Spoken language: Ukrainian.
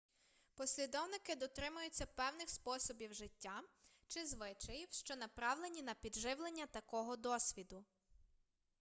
послідовники дотримуються певних способів життя чи звичаїв що направлені на підживлення такого досвіду